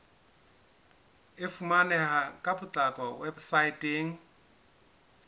e fumaneha ka potlako weposaeteng